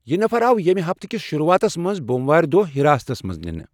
یہِ نفر آو ییٚمہِ ہفتہٕ کِس شروعاتس منز بوموارِ دۄہ حِراستس منٛز نِنہٕ ۔